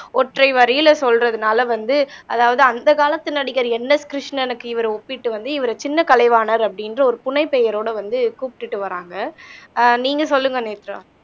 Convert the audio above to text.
ஒற்றை வரியில சொல்றதுனால வந்து, அதாவது அந்த காலத்து நடிகர் என் எஸ் கிருஷ்ணனுக்கு இவரை ஒப்பிட்டு வந்து இவரை சின்ன கலைவாணர் அப்படின்ற ஒரு புனை பெயரோட வந்து கூப்பிட்டுட்டு வர்றாங்க ஆஹ் நீங்க சொல்லுங்க நேத்ரா